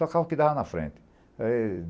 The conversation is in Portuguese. Tocava o que dava na frente.